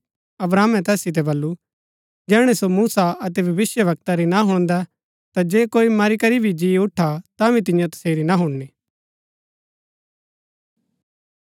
अब्राहमे तैस सितै बल्लू जैहणै सो मूसा अतै भविष्‍यवक्ता री ना हुणदै ता जे कोई मरी करी भी जी उठा तांभी तियां तसेरी ना हुणनी